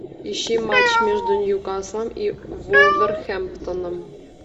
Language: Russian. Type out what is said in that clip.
ищи матч между ньюкаслом и вулверхэмптоном